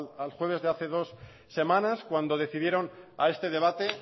al jueves de hace dos semanas cuando decidieron a este debate